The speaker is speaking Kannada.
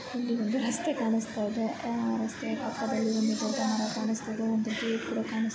ಇಲ್ಲಿ ಒಂದು ರಸ್ತೆ ಕಾಣಿಸ್ತಾ ಇದೆ ರಸ್ತೆ ಪಕ್ಕದಲ್ಲಿ ಒಂದು ದೊಡ್ಡ ಮರ ಕಾಣಿಸ್ತಾ ಇದೆ.